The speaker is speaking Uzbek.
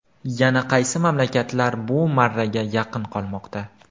Yana qaysi mamlakatlar bu marraga yaqin qolmoqda?.